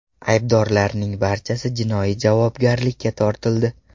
Aybdorlarning barchasi jinoiy javobgarlikka tortildi.